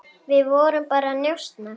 Við vorum bara að njósna,